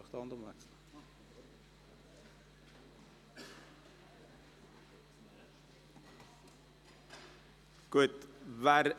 Wir kommen zum Traktandum 18 «Anpassung 2019 des Beschlusses vom 23. März 2017 über das Angebot im öffentlichen Verkehr der Fahrplanperioden 2018 bis 2021».